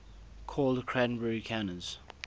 called cranberry canners